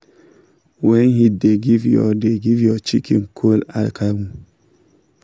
when heat da give your da give your chicken cold akamu